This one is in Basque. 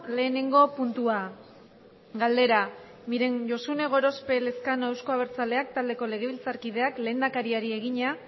lehenengo puntua galdera miren josune gorospe elezkano euzko abertzaleak taldeko legebiltzarkideak lehendakariari egina